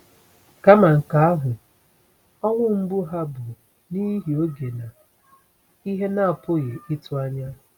Kama nke ahụ, ọnwụ mgbu ha bụ n’ihi oge na ihe na-apụghị ịtụ anya.